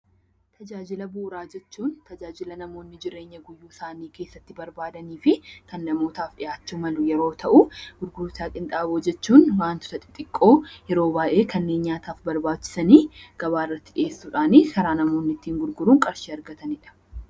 Tajaajila bu'uuraa jechuun tajaajila namoonni itti fayyadama isaaniif barbaadanii fi gurguraa qinxaaboo jechuun wantoota xixiqqoo yeroo baay'ee kanneen nyaataaf barbaachisan gabaa irratti dhiyeessuudhaan kan namoonni gurguruun qarshii argatanidha.